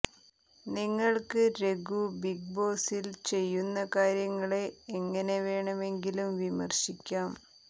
നിങ്ങൾക്ക് രഘു ബിഗ് ബോസിൽ ചെയ്യുന്ന കാര്യങ്ങളെ എങ്ങനെ വേണമെങ്കിലും വിമർശിക്കാം